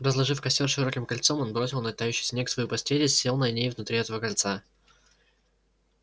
разложив костёр широким кольцом он бросил на тающий снег свою постель и сел на ней внутри этого кольца